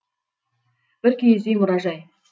бір киіз үй мұражай